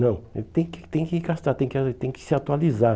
Não, não tem que tem que gastar, tem que ah tem que se atualizar.